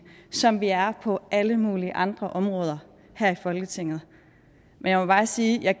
som vi er på alle mulige andre områder her i folketinget men jeg må bare sige at jeg